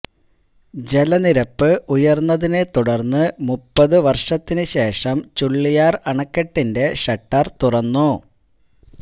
ജലനിരപ്പ് ഉയർന്നതിനെ തുടർന്ന് മുപ്പത് വർഷത്തിന് ശേഷം ചുള്ളിയാർ അണക്കെട്ടിന്റെ ഷട്ടർ തുറന്നു